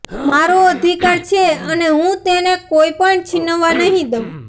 મારો અધિકાર છે અને હું તેને કોઇ પણ છીનવવા નહીં દઉં